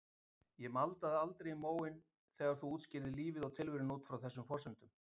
Ég maldaði aldrei í móinn þegar þú útskýrðir lífið og tilveruna út frá þessum forsendum.